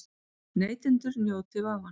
Neytendur njóti vafans